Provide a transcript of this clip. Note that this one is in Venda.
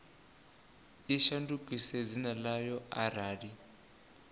i shandukise dzina ḽayo arali